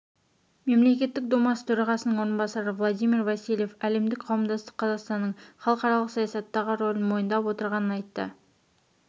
мемлекеттік думасы төрағасының орынбасары владимир васильев әлемдік қауымдастық қазақстанның халықаралық саясаттағы рөлін мойындап отырғанын айтты